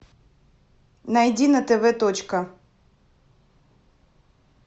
найди на тв точка